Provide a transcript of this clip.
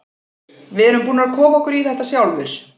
Við erum búnir að koma okkur í þetta sjálfir.